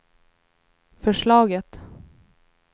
förslaget